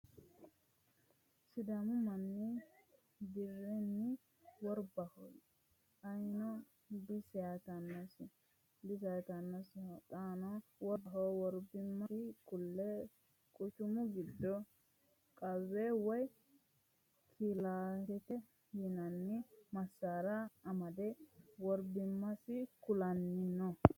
sidaamu manni birenni worbaho ayino diseyaatannosiho xaano worbaho worbimasi kule quchumu giddo qawe woye kilaashete yinanni masaara amade worbimmasi kulannino.